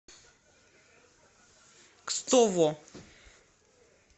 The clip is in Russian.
кстово